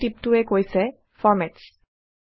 টুলটিপটোয়ে কৈছে Formats